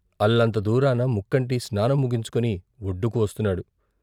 అల్లంత దూరాస ముక్కంటి స్నానం ముగించుకుని ఒడ్డుకు వస్తున్నాడు.